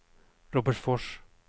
Robertsfors